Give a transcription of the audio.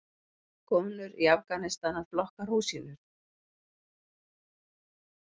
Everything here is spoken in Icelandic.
Konur í Afganistan að flokka rúsínur.